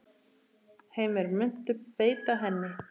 Heimir: Muntu beita henni?